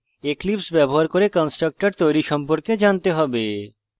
eclipse ব্যবহার করে constructor তৈরী সম্পর্কে জানতে হবে